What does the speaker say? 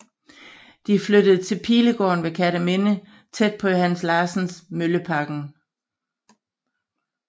De flyttede til Pilegården ved Kerteminde tæt på Johannes Larsens Møllebakken